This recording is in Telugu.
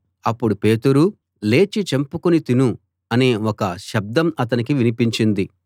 అప్పుడు పేతురూ లేచి చంపుకుని తిను అనే ఒక శబ్డం అతనికి వినిపించింది